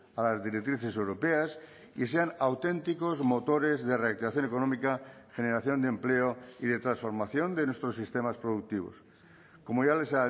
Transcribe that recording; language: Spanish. a las directrices europeas y sean auténticos motores de reactivación económica generación de empleo y de transformación de nuestros sistemas productivos como ya les